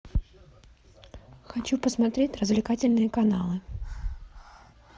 хочу посмотреть развлекательные каналы